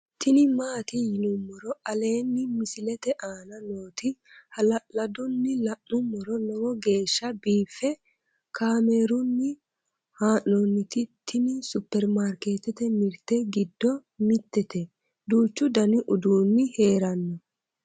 tini maati yinummoro aleenni misilete aana nooti hala'ladunni la'nummoro lowo geeshsha biiffe kaamerunni haa'nooniti tini superimarikeetete mirte giddo mitete duuchu dani uduunni heerano